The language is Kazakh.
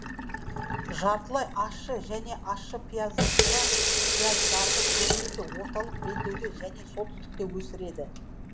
жартылай ащы және ащы пияздарды көбінесе орталық белдеуде және солтүстікте өсіреді